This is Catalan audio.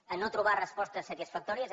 en no trobar respostes satisfactòries